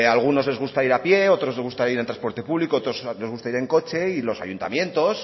a algunos les gusta ir a pie otros les gusta ir en transporte público a otros les gusta ir en coche y los ayuntamientos